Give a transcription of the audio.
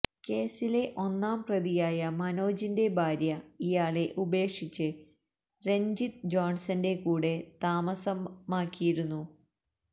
കേസിലെ ഒന്നാം പ്രതിയായ മനോജിന്റെ ഭാര്യ ഇയാളെ ഉപേക്ഷിച്ച് രഞ്ജിത്ത് ജോണ്സന്റെ കൂടെ താമസമാക്കിയിരുന്നു